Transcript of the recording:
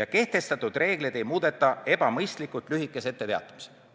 ja kehtestatud reegleid ei muudeta ebamõistlikult lühikese etteteatamisajaga.